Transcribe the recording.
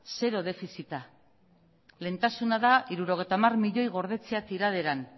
zero defizita lehentasuna da hirurogeita hamar milioi gordetzea tiraderan